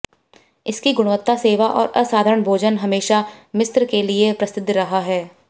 इसकी गुणवत्ता सेवा और असाधारण भोजन हमेशा मिस्र के लिए प्रसिद्ध रहा है